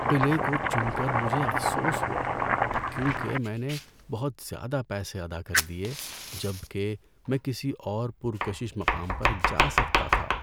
قلعے کو چن کر مجھے افسوس ہوا کیونکہ میں نے بہت زیادہ پیسے ادا کر دیے جب کہ میں کسی اور پرکشش مقام پر جا سکتا تھا۔